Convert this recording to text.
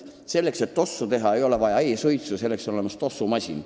Selleks et tossu teha, ei ole vaja e-suitsu, selleks on olemas tossumasin.